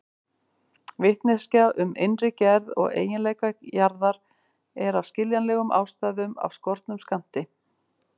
Vitneskja um innri gerð og eiginleika jarðar er af skiljanlegum ástæðum af skornum skammti.